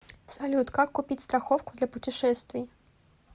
салют как купить страховку для путешествий